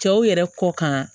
Cɛw yɛrɛ kɔ kan